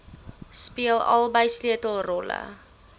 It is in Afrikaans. speel albei sleutelrolle